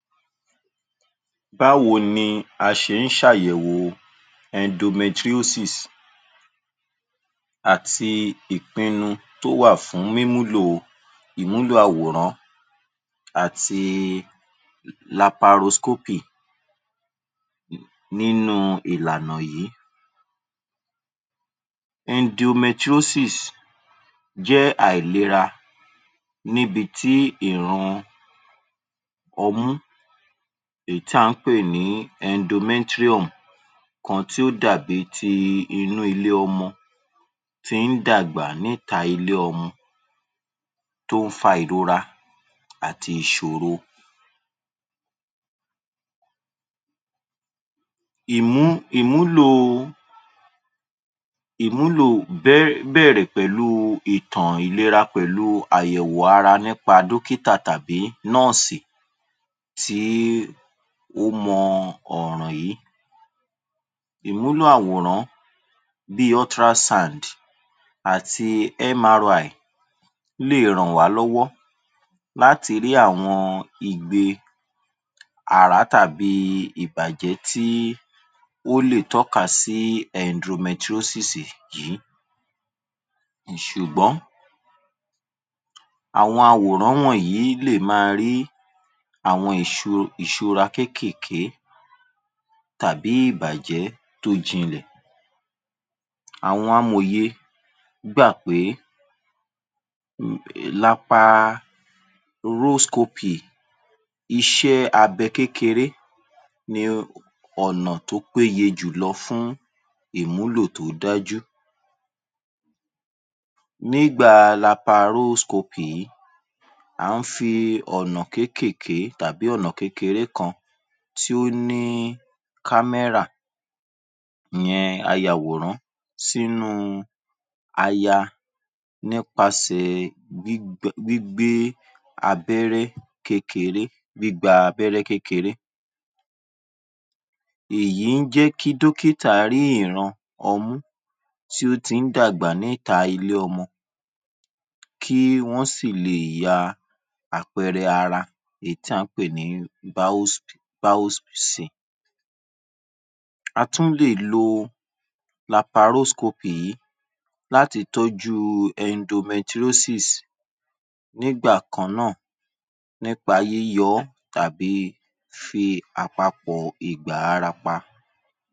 Báwo ni a ṣe ń ṣàyẹ̀wò endometriosis àti ìpinnu tó wà fún mímúlò Ìwúlò àwọ̀rán àti Laparoscopic nínú ìlànà yìí. Endometriosis jẹ́ àìlera níbití ìran ọmú èyí tí à ń pè ní Endometrium kan tí ó dàbíi ti inú ilé ọmọ tí ń dàgbà níta ilé ọmọ tó ń fa ìrora àti ìṣòro. Ìmúlò bẹ́ẹ̀rẹ̀ pẹ̀lú ìkà ìlera pẹ̀lú èwù ara nípa dókítà tàbí nọ́ọ̀sì pẹ̀lú tí ó mọ ọ̀ràn yìí. Ìmúlò àwòrán bí i Ultra sounds àti MRY lè ràn wá lọ́wọ́ láti rí àwọn igbe àrá tàbí ìbàjẹ́ tí ó lè tọ́ka sí Endometriosis yìí. Ṣùgbọ́n àwọn àwòrán wọ̀nyí lè máa rí àwọn ìṣúra kéékèèké tàbí ìbàjẹ́ tó jinlẹ̀. Àwọn Amòye gbà pé Laparoscopic, iṣẹ́ abẹ́ kékeré ni ọ̀nà tí ó péye jùlọ fún ìmúlò tó dájú. Nígbà Laparoscopic yìí à ń fi ọ̀nà kéékèèké tàbí ọ̀nà kékeré kan tí ó ní kámẹ́rà ìyẹn ayàwòrán sínú, aya nípasẹ̀ gbígba abẹ́rẹ́ kékeré èyí jẹ́ kí dókítà rí ìran ọmú tí ó ti ń dàgbà níta ilé-ọmọ kí wọ́n sì lè ya àpẹẹrẹ ara èyí tí à ń pè ní Biosin. A tún lè lo Laparoscopic yìí láti tọ́jú endometriosis nígbà kan náà nípa yíyọ ọ́ tàbí fífi àpapọ̀ ìgbà ara pa.